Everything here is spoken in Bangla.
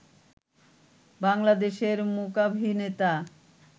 বাংলাদেশের মূকাভিনেতা